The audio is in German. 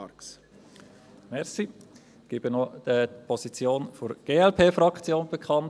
Ich gebe auch noch die Position der Glp-Fraktion bekannt: